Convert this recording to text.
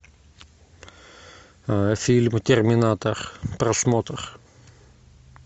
фильм терминатор просмотр